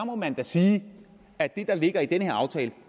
må man da sige at det der ligger i den her aftale